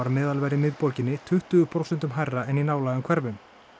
meðalverð í miðborginni tuttugu prósentum hærra en í nálægum hverfum